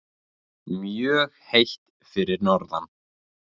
Mjög heitt fyrir norðan